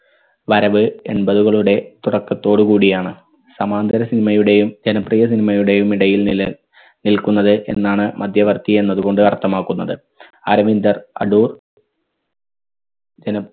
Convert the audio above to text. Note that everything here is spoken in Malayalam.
വരവ് എൺപതുകളുടെ തുടക്കത്തോട് കൂടിയാണ്. സമാന്തര cinema യുടെയും ജനപ്രിയ cinema യുടെയും ഇടയിൽ നില നിൽക്കുന്നത് എന്നാണ് മധ്യവർത്തി എന്നത് കൊണ്ട് അർത്ഥമാക്കുന്നത്. അരവിന്ദർ അടൂർ ജന